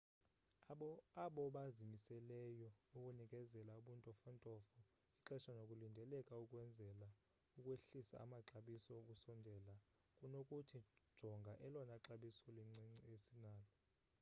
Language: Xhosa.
abobazimiseleyo ukunikezela ubuntofontofo ixesha nokulindeleka ukwenzela ukwehlisa amaxabiso ukusondela kunothi jonga elona xabiso lincinci esinalo